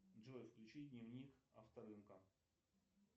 джой включи дневник авторынка